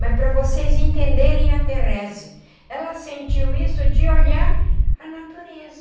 Mas para vocês entenderem a Therese, ela sentiu isso de olhar a natureza.